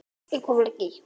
Linda: Og af hverju?